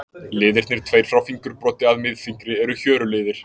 Liðirnir tveir frá fingurbroddi að miðfingri eru hjöruliðir.